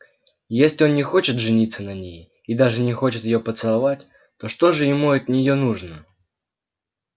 если он не хочет жениться на ней и даже не хочет её поцеловать то что же ему от неё нужно